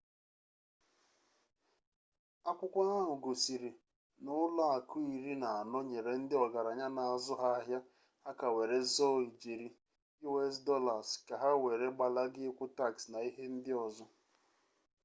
akwukwo ahu gosiri na ulo aku iri na ano nyere ndi ogaranya n'azu ha ahia aka were zoo ijeri us dollars ka ha were gbalaga ikwu tax na ihe ndi ozo